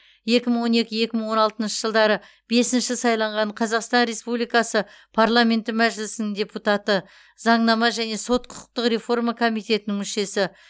екі мың он екі екі мың он алтыншы жылдары бесінші сайланған қазақстан республикасы парламенті мәжілісінің депутаты заңнама және сот құқықтық реформа комитетінің мүшесі